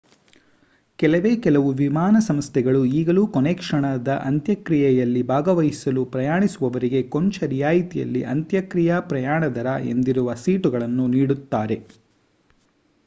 ಕೆಲವೇ ಕೆಲವು ವಿಮಾನ ಸಂಸ್ಥೆಗಳು ಈಗಲೂ ಕೊನೆಕ್ಷಣದ ಅಂತ್ಯಕ್ರಿಯೆಯಲ್ಲಿ ಭಾಗವಹಿಸಲು ಪ್ರಯಾಣಿಸುವವರಿಗೆ ಕೊಂಚ ರಿಯಾಯತಿಯಲ್ಲಿ ಅಂತ್ಯಕ್ರಿಯ ಪ್ರಯಾಣ ದರ ಎಂದಿರುವ ಸೀಟುಗಳನ್ನು ನೀಡುತ್ತಾರೆ